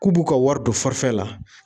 K'u b'u ka wari don la